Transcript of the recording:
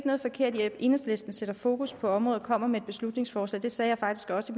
noget forkert i at enhedslisten sætter fokus på området og kommer med et beslutningsforslag det sagde jeg faktisk også